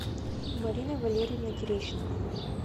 мариной валерьевной терещенко